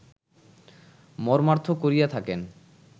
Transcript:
মর্মার্থ করিয়া থাকেন